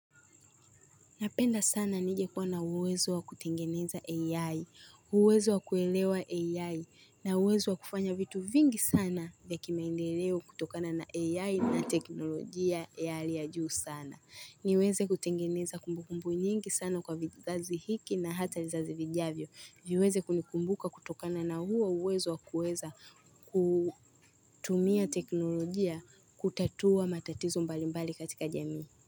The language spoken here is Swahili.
Napenda sana ningekuwa na uwezo wa kutengeneza AI, uwezo wa kuelewa AI, na uwezo wa kufanya vitu vingi sana vya kimaendeleo kutokana na AI na teknolojia ya hali ya juu sana. Niweze kutengeneza kumbukumbu nyingi sana kwa vizazi hiki na hata vizazi vijavyo. Viweze kunikumbuka kutokana na huo uwezo wa kuweza kutumia teknolojia kutatua matatizo mbalimbali katika jamii.